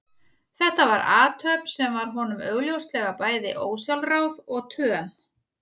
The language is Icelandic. Þetta var athöfn sem var honum augljóslega bæði ósjálfráð og töm.